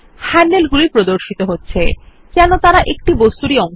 হ্যান্ডলগুলি প্রদর্শিত হচ্ছে যেন তারা একটি বস্তুরই অংশ